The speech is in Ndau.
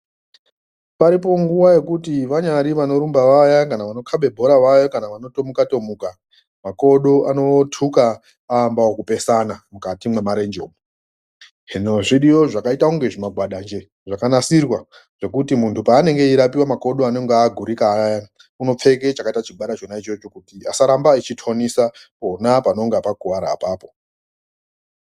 Paripo nguwa yokuti vanyari vanorumba vaya kana vanokhabe bhora vaya kana vanothomuka-thomuka, makodo anothuka aambaokupesana mukati mwemarenje umu. Hino zviriyo zvakaita unge zvimagwada njee zvakanasirwa zvekuti munthu paanonga eirapiwa makodo anonga agurika ayana unopfeke chakaita chigwada chona ichocho kuti asaramba eitonisa pona panonga pakuwara apapo.